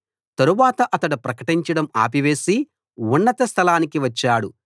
తరువాత అతడు ప్రకటించడం ఆపివేసి ఉన్నత స్థలానికి వచ్చాడు